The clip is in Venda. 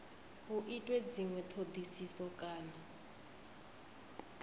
hu itwe dzinwe thodisiso kana